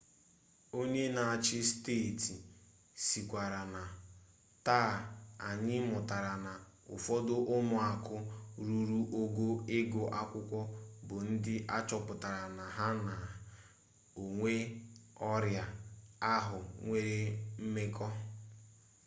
onye n'achị steeti sịkwara na taa anyị mụtara na ụfọdụ ụmụaka ruru ogo ịgụ akwụkwọ bụ ndị achọpụtara na ha na onye ọrịa ahụ nwere mmekọ